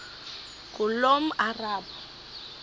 ngulomarabu